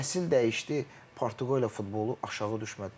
Nəsil dəyişdi, Portuqaliya futbolu aşağı düşmədi, daha da yaxşı oldu.